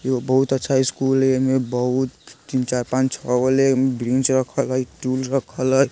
ऐगो बहुत अच्छा इस्कूल है येमे बहुत तीन चार पांच छोगो ले बेंच रखल है टूल रखल हय।